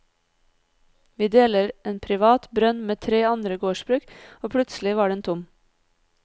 Vi deler en privat brønn med tre andre gårdsbruk, og plutselig var den tom.